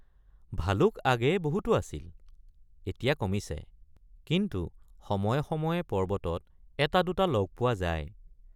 ভালুক আগেয়ে বহুতো আছিল এতিয়া কমিছে কিন্তু সময়ে সময়ে পৰ্বতত এটা দুটা লগ পোৱা যায়।